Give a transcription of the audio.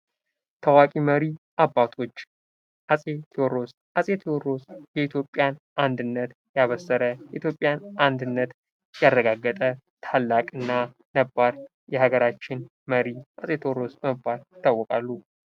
ታዋቂ መሪ አባቶች አፄ ቴዎድሮስ፤ አፄ ቴዎድሮስ የኢትዮጵያን አንድነት ያበሰረ የኢትዮጵያን አንድነት ያረጋገጠ ታላቅና ነባር የሀገራችን መሪ አፄ ቴዎድሮስ በመባል ይታወቃሉ።